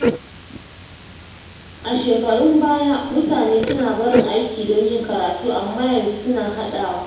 A shekarun baya, mutane suna barin aiki don yin karatu amma yanzu suna haɗawa.